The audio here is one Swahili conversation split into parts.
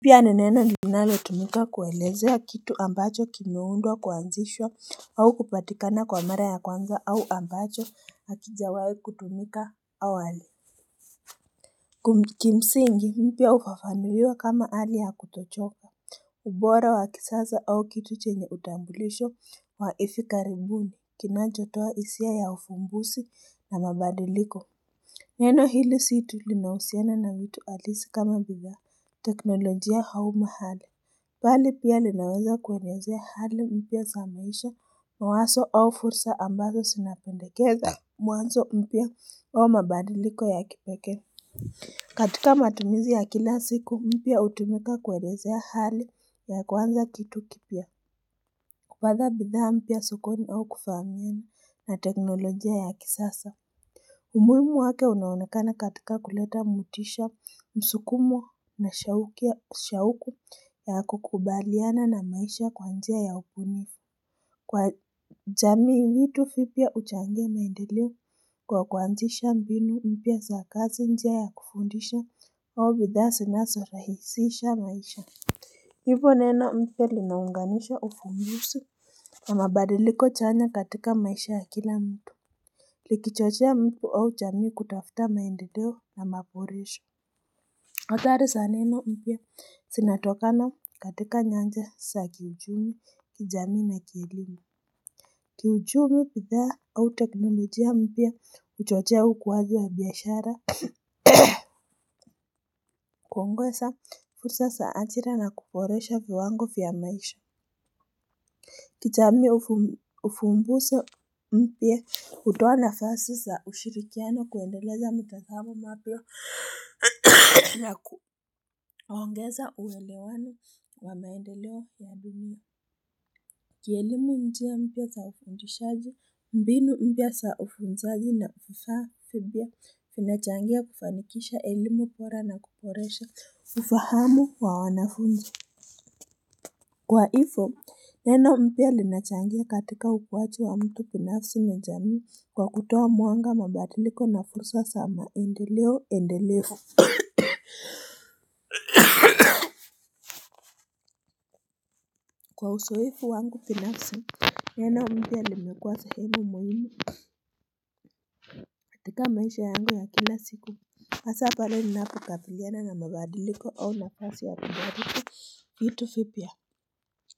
Mpya ni neno linalo tumika kuelezea kitu ambacho kimeundwa kuanzishwa au kupatikana kwa mara ya kwanza au ambacho hakijawahi kutumika awali. Ki msingi mpya hufafanuliwa kama hali ya kutochoka ubora wakisasa au kitu chenye utambulisho wa hivi karibuni kinachotoa hisia ya ufumbuzi na mabadiliko. Neno hili si tu linahusiana na vitu halisi kama vile teknolojia au mahali. Bali pia linaweza kuelezea hali mpya za mwisho mawazo au fursa ambazo zinapendekeza mwanzo mpya au mabadiliko ya kipekee. Katika matumizi ya kila siku mpya hutumika kuelezea hali ya kuanza kitu kipya. Kupata bidhaa mpya sokoni au kudhamini na teknolojia ya kisasa. Umuhimu wake unaonekana katika kuleta motisha msukumo na shauku ya kukubaliana na maisha kwa njia ya ubunifu. Kwa jamii vitu vipya huchangia maendeleo kwa kuanzisha mbinu mpya za kazi njia ya kufundisha au bidhaa zinazo rahisisha maisha. Hivo neno mpya linaunganisha upumbuzi na mabadiliko chanya katika maisha ya kila mtu. Likichochea mtu au jamii kutafuta maendeleo na maboresho. Hatari za neno mpya. Zinatokana katika nyanja za kiuchumi jamii na kielimu. Kiuchumi bidhaa au teknolojia mpya. Uchochea ukuwaji wa biashara. Kuongeza fursa za ajira na kuboresha viwango vya maisha. Kijamii ufumbuzi mpya. Utoa nafasi za. Ushirikiano kuendeleza mtazamo mapya. Na kuongeza uelewano wa maendelezo ya dunia. Ki elimu njia mpya za ufundishaji, mbinu mpya za ufunzaji na ufasaha, zimechangia kufanikisha elimu bora na kuboresha, ufahamu wa wanafunzi kwa hivo neno mpya linachangia katika uumbwaji wa mtu binafsi na jamii kwa kutoa mwanga mabadiliko na fursa sawa na endeleo endelevu. Kwa uzoefu wangu binafsi neno mpya limekuwa sehemu muhimu nikama maisha yangu ya kila siku hasa pale ninapo kabiliana na mabadiliko au nafasi ya kujaribu vitu vipya.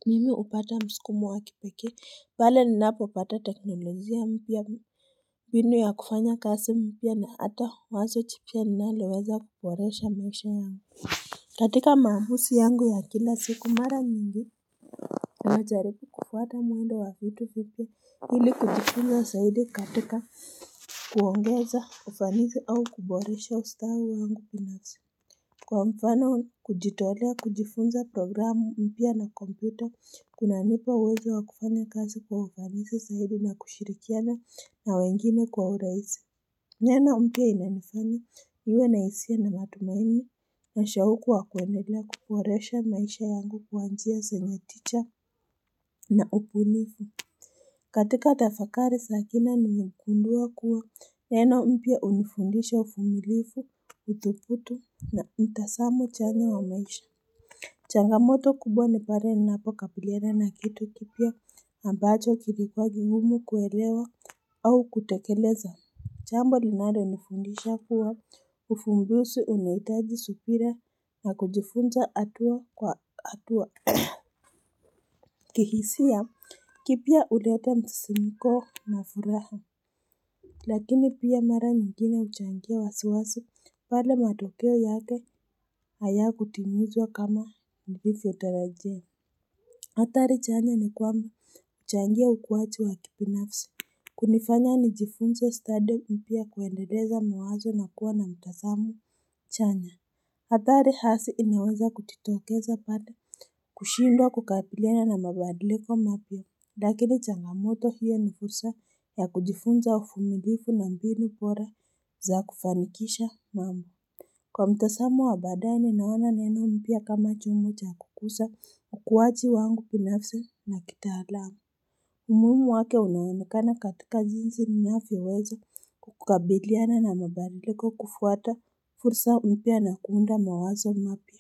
Nimi hupata msukumo wa kipekee. Pale ninapopata teknolojia mpya binu ya kufanya kazi mpya na ata wazo jipya linaloweza kuboresha maisha yangu katika maamuzi yangu ya kila siku mara nyingi najaribu kufuata mwendo wa vitu vipya ili kujifunza zaidi katika kuongeza ufanisi au kuboresha ustawi wangu kila siku kwa mfano kujifunza kujitolea kujifunza programu mpya na kompyuta kunanipa uwezo wa kufanya kazi kwa ufanisi zaidi na kushirikiana na wengine kwa urahisi. Neno mpya inanifanya niwe na hisia na matumaini na shauku ya kuendelea kuboresha maisha yangu kwa njia zenye tija na ubunifu. Katika tafakari za kina nimegundua kuwa neno mpya hunifundisha uvumilivu udhubutu na mtazamo chanya wa maisha. Changamoto kubwa ni pale ninapo kabiliana na kitu kipya ambacho kilikuwa kigumu kuelewa au kutekeleza jambo linalo nifundisha kuwa ufumbuzi unahitaji subira na kujifunza hatua kwa hatua ki hisia kipya huleta msisimuko na furaha. Lakini pia mara nyingine huchangia wasiwasi pale matokeo yake hayakutimizwa kama nilivyo tarajia adhari chanya ni kwamba huchangia ukuaji wa kibinafsi. Kunifanya nijifunze study mpya kuendeleza mawazo na kuwa na mtazamo chanya adhari hasi inaweza kujitokeza pale kushindwa kukabiliana na mabadiliko mapya lakini changamoto hiyo ni fursa ya kujifunza uvumilivu na binu bora za kufanikisha mambo. Kwa mtazamo wa baadaye ninaona neno mpya kama chombo cha kukuza ukuaji wangu binafsi na kitaalamu. Umuhimu wake unaonekana katika jinsi ninavyoweza kukabiliana na mabadiliko kufuata fursa mpya na kuunda mawazo mapya.